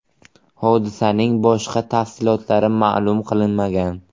Hodisaning boshqa tafsilotlari ma’lum qilinmagan.